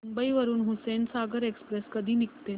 मुंबई वरून हुसेनसागर एक्सप्रेस कधी निघते